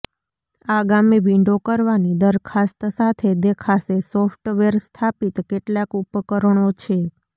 આગામી વિંડો કરવાની દરખાસ્ત સાથે દેખાશે સોફ્ટવેર સ્થાપિત કેટલાક ઉપકરણો છે